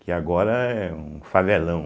Que agora é um favelão.